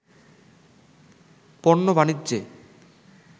পণ্য বাণিজ্যে